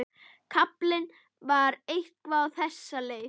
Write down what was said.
Kaflinn var eitthvað á þessa leið: